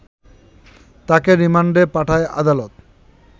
তাকে রিমান্ডে পাঠায় আদালত